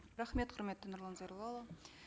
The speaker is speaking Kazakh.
рахмет құрметті нұрлан зайроллаұлы